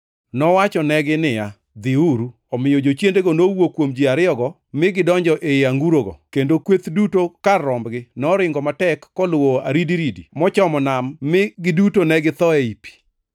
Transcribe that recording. Nowachonegi niya, “Dhiuru!” Omiyo jochiendego nowuok kuom ji ariyogo mi gidonjo ei angurogo, kendo kweth duto kar rombgi noringo matek koluwo aridiridi mochomo nam mi giduto ne githo ei pi.